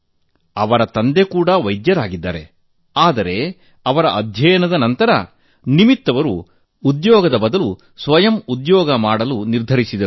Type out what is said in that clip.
ಅವರ ತಂದೆ ಕೂಡ ವೈದ್ಯರಾಗಿದ್ದಾರೆ ಆದರೆ ಅವರ ಅಧ್ಯಯನದ ನಂತರ ನಿಮಿತ್ ಅವರು ಉದ್ಯೋಗದ ಬದಲು ಸ್ವಯಂ ಉದ್ಯೋಗ ಮಾಡಲು ನಿರ್ಧರಿಸಿದರು